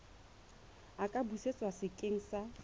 a ka busetswa sekeng sa